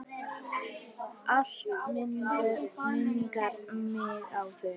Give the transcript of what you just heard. Allt minnir mig á þig.